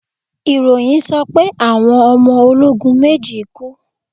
ìròyìn sọ pé Àwọn ọmọ ologun méjì kú.